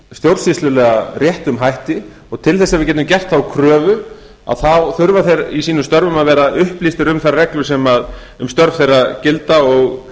stjórnsýslulega réttum hætti til þess að við getum gert þá kröfu þurfa þeir í sínum störfum að vera upplýstir um þær reglur sem um störf þeirra gilda